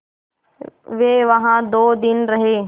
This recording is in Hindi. वे वहाँ दो दिन रहे